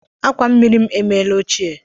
Akwa mmiri m emeela ochie